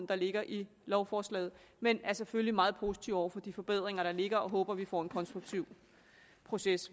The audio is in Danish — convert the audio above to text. der ligger i lovforslaget men er selvfølgelig meget positive over for de forbedringer der ligger og håber vi får en konstruktiv proces